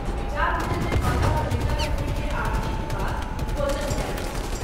विचार भेल जे माता ललिता देवी के आरती के बाद भोजन कएल जाय।